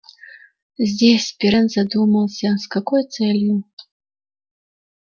здесь пиренн задумался с какой целью